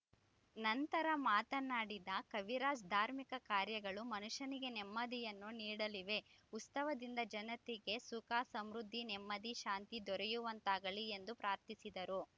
ನಂತರ ಮಾತನಾಡಿದ ಕವಿರಾಜ್‌ ಧಾರ್ಮಿಕ ಕಾರ್ಯಗಳು ಮನುಷ್ಯನಿಗೆ ನೆಮ್ಮದಿಯನ್ನು ನೀಡಲಿವೆ ಉತ್ಸವದಿಂದ ಜನತೆಗೆ ಸುಖ ಸಮೃದ್ಧಿ ನೆಮ್ಮದಿ ಶಾಂತಿ ದೊರೆಯುವಂತಾಗಲಿ ಎಂದು ಪ್ರಾರ್ಥಿಸಿದರು